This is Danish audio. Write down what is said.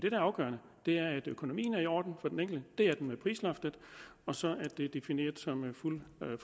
er afgørende er at økonomien er i orden for den enkelte det er den med prisloftet og så er det defineret som fuld